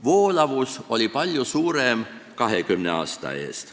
Voolavus oli palju suurem 20 aasta eest.